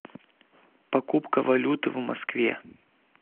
покупка валюты в москве